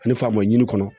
Ani faama ɲini kɔnɔ